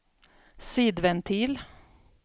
sidventil